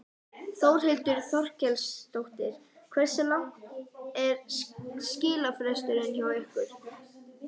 Þórhildur Þorkelsdóttir: Hversu langur er skilafresturinn hjá ykkur?